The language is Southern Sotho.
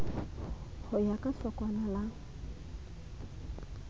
ho ya ka hlokwana la